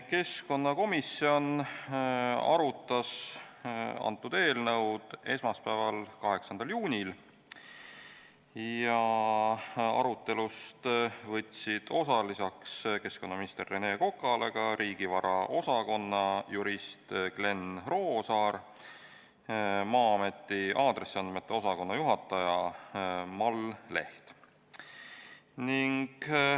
Keskkonnakomisjon arutas seda eelnõu esmaspäeval, 8. juunil ja arutelust võtsid osa lisaks keskkonnaminister Rene Kokale ka riigivaraosakonna jurist Glen Roosaar ja Maa-ameti aadressiandmete osakonna juhataja Mall Leht.